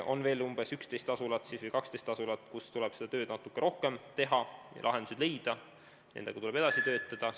On veel 11 või 12 asulat, kus tuleb seda tööd natuke rohkem teha ja lahendused leida, nendega tuleb edasi töötada.